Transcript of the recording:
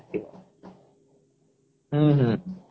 ହଁ ହଁ